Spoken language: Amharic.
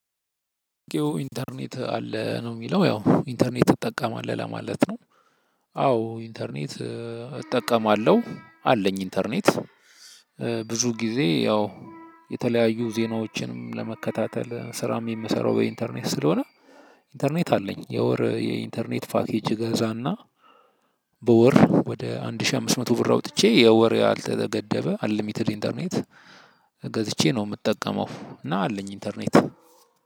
ኢንተርኔት አለ ነው የሚለው ያው ኢንተርኔት ትጠቀማለህ ለማለት ነው? አዎ ኢንተርኔት እጠቀማለሁ አለኝ ኢንተርኔት ብዙ ጊዜ ያው የተለያዩ ዜናዎችንም ለመከታተል ስራም የምሰራው በኢንተርኔት ስላሆነ። ኢንተርኔት አለኝ የወር የኢንተርኔት ፓኬጅ እገዛና። በወር ወደ አንድ ሺህ አምስት መቶ ብር አውጥቼ የወር ያልተገደበ አንሊሚትድ ኢንተርኔት ገዝቼ ነው የምጠቀመው እና አለኝ ኢንተርኔት።